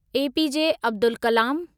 APJ Abdul Kalam